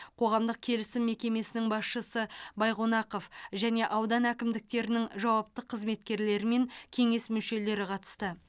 қоғамдық келісім мекемесінің басшысы байқонақов және аудан әкімдіктерінің жауапты қызметкерлері мен кеңес мүшелері қатысты